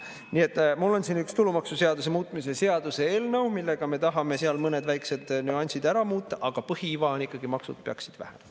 Nii et mul on siin üks tulumaksuseaduse muutmise seaduse eelnõu, millega me tahame mõned väiksed nüansid ära muuta, aga põhiiva on ikkagi: maksud peaksid vähenema.